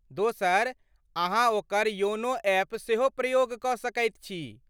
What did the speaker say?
दोसर, अहाँ ओकर योनो एप सेहो प्रयोग कऽ सकैत छी।